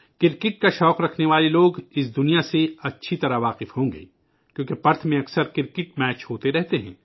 cricket کے شائقین اس جگہ سے بخوبی واقف ہوں گے، کیونکہ پرتھ میں اکثر کرکٹ کے میچ ہوتے رہتے ہیں